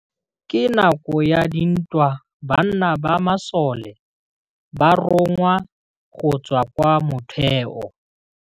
Ka nakô ya dintwa banna ba masole ba rongwa go tswa kwa mothêô.